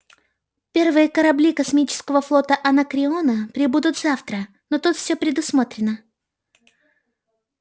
первые корабли космического флота анакреона прибудут завтра но тут всё предусмотрено